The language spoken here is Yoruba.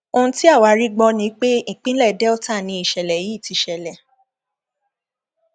ohun tí àwa rí gbọ ni pé ìpínlẹ delta ni ìṣẹlẹ yìí ti ṣẹlẹ